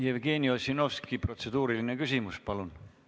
Jevgeni Ossinovski, kas on protseduuriline küsimus?